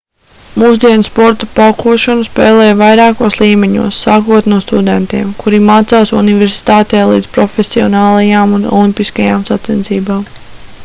mūsdienu sporta paukošanu spēlē vairākos līmeņos sākot no studentiem kuri mācās universitātē līdz profesionālajām un olimpiskajām sacensībām